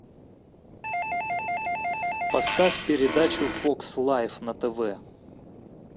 поставь передачу фокс лайф на тв